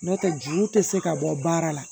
N'o tɛ juru tɛ se ka bɔ baara la